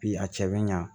Bi a cɛ bɛ ɲa